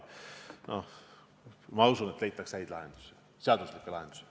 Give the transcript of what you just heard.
Noh, ma usun, et leitakse häid lahendusi, seaduslikke lahendusi.